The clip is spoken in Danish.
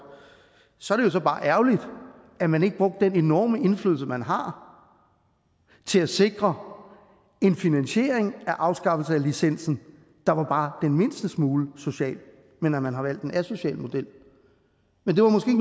så er det bare ærgerligt at man ikke brugte den enorme indflydelse man har til at sikre en finansiering af afskaffelse af licensen der var bare den mindste smule social men at man har valgt en asocial model men det var måske